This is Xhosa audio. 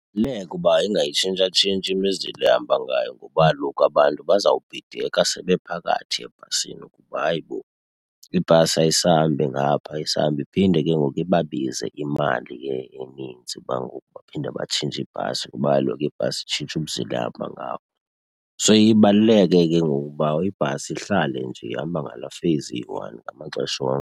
uba ingayitshintshatshintshi imizila ehamba ngayo ngoba kaloku abantu bazawubhideka sebephakathi ebhasini ukuba hayi bo ibhasi ayisahambi ngapha, ayisahambi. Iphinde ke ngoku ibabize imali ke eninzi uba ngoku baphinde batshintshe ibhasi kuba kaloku ibhasi itshintshe umzila ehamba ngawo. So iye ibaluleke ke ngoku uba ibhasi ihlale nje ihamba ngalaa phase iyi-one ngamaxesha onke.